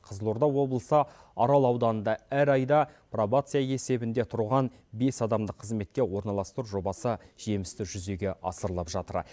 қызылорда облысы арал ауданында әр айда пробация есебінде тұрған бес адамды қызметке орналастыру жобасы жемісті жүзеге асырылып жатыр